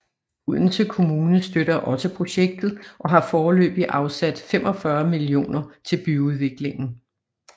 Odense Kommune støtter også projektet og har foreløbigt afsat 45 millioner til byudviklingen